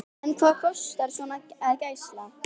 En hvað kostar svona gæsla?